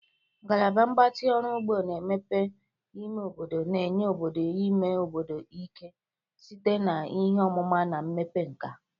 Ngalaba Mgbatị Ọrụ ugbo na mmepe ime obodo na-enye obodo ime obodo ike site na ihe ọmụma na mmepe nkà.